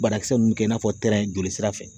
Banakisɛ ninnu kɛ i n'a fɔ joli sira fɛ